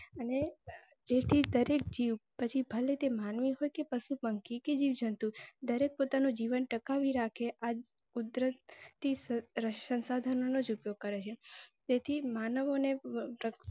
અને જે થી દરેક જીવ પછી ભલે તે માનવી હોય ક પશુ પંખી કે જીવજંતુ દરેક પોતાનું જીવન ટકાવી રાખે સંશાધનો નું ઉપયોગ કરેં તેથી માનવો ને